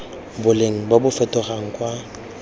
boleng bo bo fetogang kwa